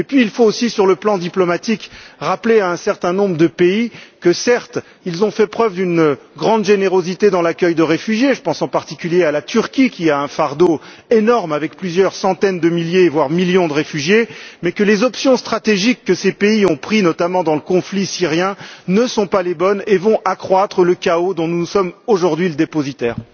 Puis, il faut aussi, sur le plan diplomatique, rappeler à un certain nombre de pays que, certes, ils ont fait preuve d'une grande générosité dans l'accueil de réfugiés je pense, en particulier, à la Turquie qui a un fardeau énorme avec plusieurs centaines de milliers voire des millions de réfugiés mais que les options stratégiques que ces pays ont prises, notamment dans le conflit syrien, ne sont pas les bonnes et vont accroître le chaos dont nous sommes aujourd'hui le dépositaire.